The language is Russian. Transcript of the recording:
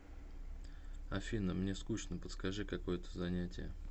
афина мне скучно подскажи какое то занятие